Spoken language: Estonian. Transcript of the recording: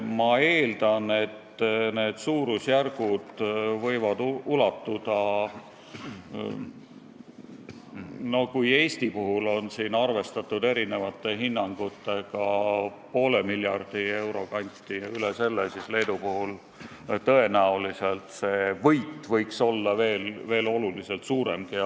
Ma eeldan, et kui Eesti puhul on arvestatud erinevatel hinnangutel umbes poole miljardi euroga või isegi rohkem, siis Leedu puhul on suurusjärk teine, tõenäoliselt on võit palju suurem.